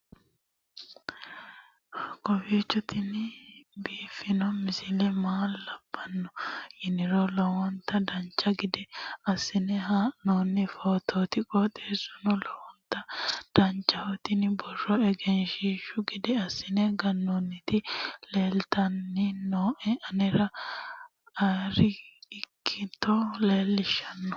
kowiicho tini biiffanno misile maa labbanno yiniro lowonta dancha gede assine haa'noonni foototi qoxeessuno lowonta danachaho. tini borro egenshshiishu gede assine gannoonniti leeltanni nooe anera arri ikkito leellishshanno